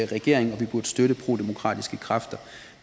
regering og vi burde støtte prodemokratiske kræfter